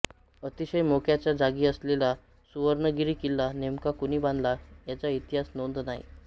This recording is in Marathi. अतिशय मोक्याच्या जागी असलेला सुर्वणगिरी किल्ला नेमका कोणी बांधला याची इतिहासात नोंद नाही